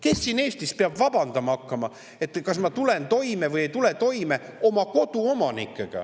Kes siin Eestis peab vabandama hakkama, et koduomanikuna kas tullakse toime või ei tulda?